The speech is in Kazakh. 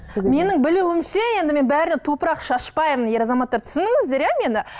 менің білуімше енді мен бәріне топырақ шашпаймын ер азаматтар түсініңіздер иә мені